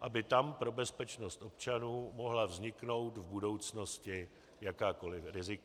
aby tam pro bezpečnost občanů mohla vzniknout v budoucnosti jakákoliv rizika.